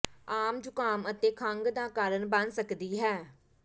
ਆਮ ਜ਼ੁਕਾਮ ਅਤੇ ਖੰਘ ਦਾ ਕਾਰਨ ਬਣ ਸਕਦੀ ਹੈ